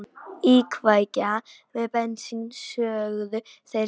Íkveikja með bensíni, sögðu þeir strax.